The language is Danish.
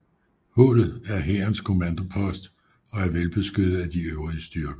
Hullet er hærens kommandopost og er velbeskyttet af de øvrige styrker